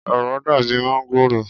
Òro dàbi máǹgòrò.